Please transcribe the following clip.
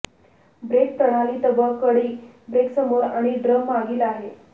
break प्रणाली तबकडी brake समोर आणि ड्रम मागील आहे